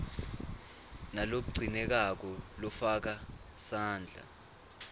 nalogcinekako lofaka sandla